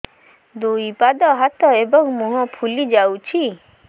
ଦୁଇ ପାଦ ହାତ ଏବଂ ମୁହଁ ଫୁଲି ଯାଉଛି